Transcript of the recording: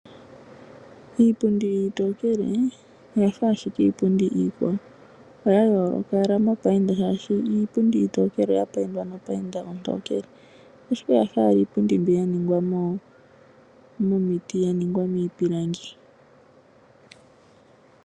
Iipundi iitokele, oya fa ashike Iipundi iikwawo, oya yooloka ashike mopainda shaashi Iipundi iitokele oya paindwa no painda ontokele, ashike oya fa ashike Iipundi mbi yaningwa miipilangi.